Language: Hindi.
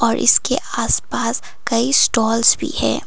और इसके आसपास कई स्टॉल्स भी है।